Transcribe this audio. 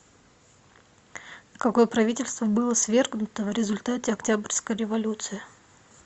какое правительство было свергнуто в результате октябрьской революции